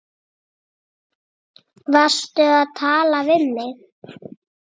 Varstu að tala við mig?